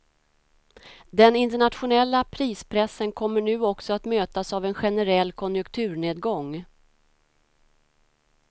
Den internationella prispressen kommer nu också att mötas av en generell konjunkturnedgång.